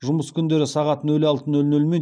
жұмыс күндері сағат нөл алты нөл нөл мен